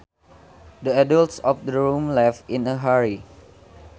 The adults in the room left in a hurry